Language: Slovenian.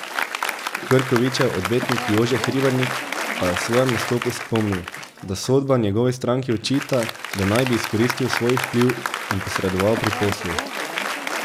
Krkovičev odvetnik Jože Hribernik pa je v svojem nastopu spomnil, da sodba njegovi stranki očita, da naj bi izkoristil svoj vpliv in posredoval pri poslu.